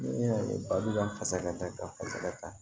Ne y'a ye ba b'an fasa ta ka fasa kan